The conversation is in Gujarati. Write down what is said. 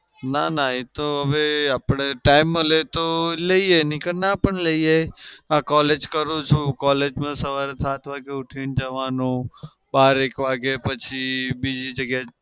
ના ના એતો હવે આપણે time મળે તો લઇ એ ની કે ના પણ લઈએ. આ collage કરું છું. collage સવાર સાત વાગે ઉઠીને જવાનું બાર એક વાગે પછી બીજી જગ્યા